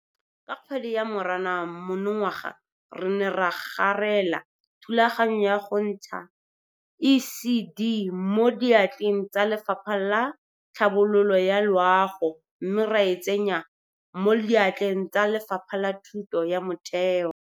Go ya ka Lefapha la Boitekanelo la porofense ya Kapa Bophirima, mogote wa selemo o tlisa dikotsi tse di tsamaisanang le bolwetse jwa go felelwa ke metsi mo mmeleng, e leng bolwetse jo bo kotsi thata jwa go felelwa ke metsi mo mmeleng.